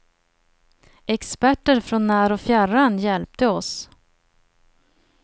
Experter från när och fjärran hjälpte oss.